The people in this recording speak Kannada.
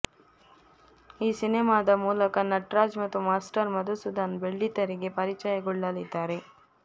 ಈ ಸಿನೆಮಾದ ಮೂಲಕ ನಟರಾಜ್ ಮತ್ತು ಮಾಸ್ಟರ್ ಮಧುಸೂಧನ್ ಬೆಳ್ಳಿತೆರೆಗೆ ಪರಿಚಯಗೊಳ್ಳಲಿದ್ದಾರೆ